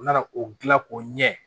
U nana o gilan o ɲɛ